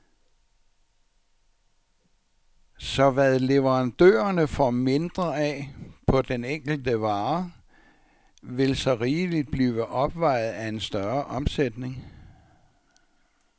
Så hvad leverandørerne får mindre af på den enkelte vare, vil så rigeligt blive opvejet af en større omsætning.